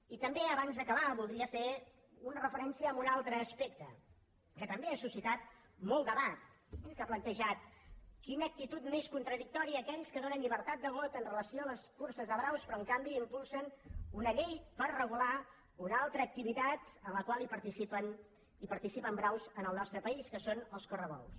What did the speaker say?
i també abans d’acabar voldria fer una referència a un altre aspecte que també ha suscitat molt debat i que ha plantejat quina actitud més contradictòria aquells que donen llibertat de vot amb relació a les curses de braus però en canvi impulsen una llei per regular una altra activitat en la qual participen braus en el nostre país que són els correbous